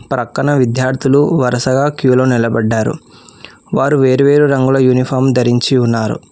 ప్రక్కన విద్యార్థులు వరుసగా క్యూలో నిలబడ్డారు వారు వేరువేరు రంగుల యూనిఫామ్ ధరించి ఉన్నారు.